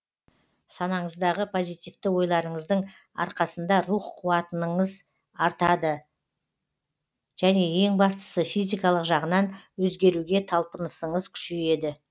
санаңыздағы позитивті ойларыңыздың арқасында рух қуатыныңыз артады және ең бастысы физикалық жағынан өзгеруге талпынысыңыз күшейеді